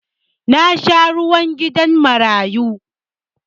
Na sha zuwa gidan marayu